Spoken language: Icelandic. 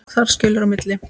Þar skilur á milli.